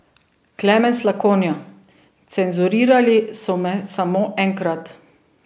Klemen Slakonja: 'Cenzurirali so me samo enkrat.